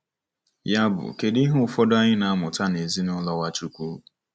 Yabụ kedu ihe ụfọdụ anyị na-amụta n'ezinaụlọ Nwachukwu?